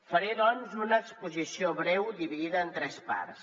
faré doncs una exposició breu dividida en tres parts